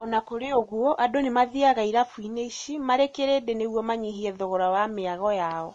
Ona kũrĩ ũguo, andũ nĩmathiaga irabuinĩ ici marĩ kirĩndĩ nĩguo manyihie thogora wa mĩago yao.